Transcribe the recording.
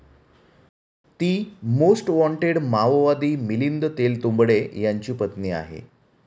ती 'most wanted' माओवादी मिलिंद तेलतुंबडे यांची पत्नी आहे.